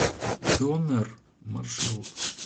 донер маршрут